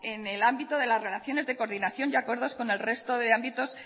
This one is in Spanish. en el ámbito de las relaciones de coordinación y acuerdos con el resto de ámbitos